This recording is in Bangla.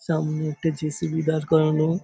সামনে একটা জে.সি.বি. দাঁড় করানো ।